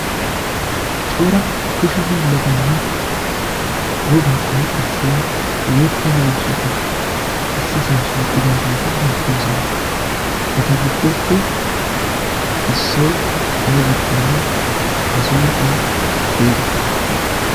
cora kushe hiillatanne wogaa qonccissiya yeetta miishshatu issi san shiiqqidaageeti beettoosona. eta giddoppe issoi aibakkonne a sunttaa xeega?